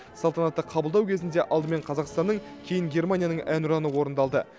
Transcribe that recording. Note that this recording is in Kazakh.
салтанатты қабылдау кезінде алдымен қазақстанның кейін германияның әнұраны орындалды